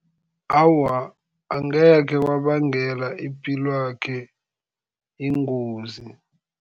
Awa, angekhe kwabangela ipilwakhe ingozi.